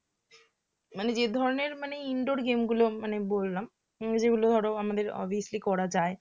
মানে যে ধরণের মানে indoor game গুলো বললাম যেগুলো ধর আমাদের obviously করা যায়